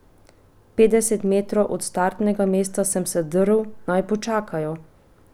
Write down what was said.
Petdeset metrov od startnega mesta sem se drl, naj počakajo.